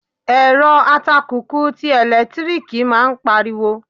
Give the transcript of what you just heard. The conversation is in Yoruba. Èrọ atakùkù ti ẹ̀lẹ́tíríkì máa ń pari wo.